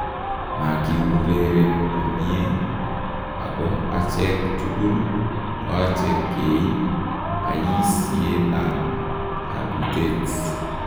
Makiureren komyee ako achek tukul koache keiib bayisyeetab kabuutet ".